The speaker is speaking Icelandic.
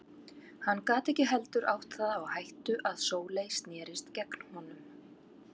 Hann gat ekki heldur átt það á hættu að Sóley snerist gegn honum.